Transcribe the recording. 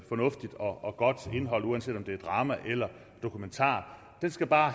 fornuftigt og godt indhold uanset om det er drama eller dokumentar den skal bare